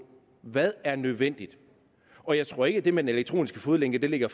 hvad der er nødvendigt og jeg tror ikke at det med den elektroniske fodlænke ligger